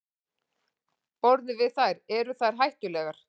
Borðum við þær, eru þær hættulegar?